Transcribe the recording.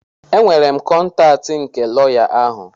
Enwere m kọntaatị tị lọya ahụ.